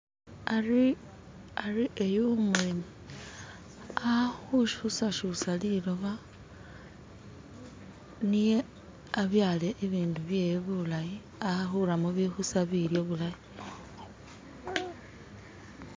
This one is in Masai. Hari eyu umwene ali kyusakyusa liloba niye abyale ibindu byewe bulayi ahuramo bibikusa bilyo bulayi